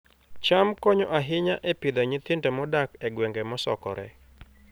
cham konyo ahinya e Pidhoo nyithindo modak e gwenge mosokore